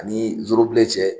Ani zorobilen cɛ